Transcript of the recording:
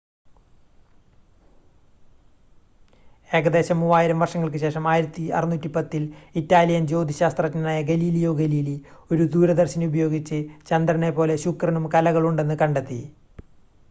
ഏകദേശം മൂവായിരം വർഷങ്ങൾക്ക് ശേഷം 1610-ൽ ഇറ്റാലിയൻ ജ്യോതിശാസ്ത്രജ്ഞനായ ഗലീലിയോ ഗലീലി ഒരു ദൂരദർശിനി ഉപയോഗിച്ച് ചന്ദ്രനെ പോലെ ശുക്രനും കലകളുണ്ടെന്ന് കണ്ടെത്തി